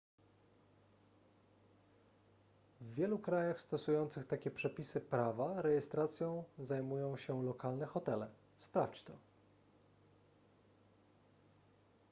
w wielu krajach stosujących takie przepisy prawa rejestracją zajmują się lokalne hotele sprawdź to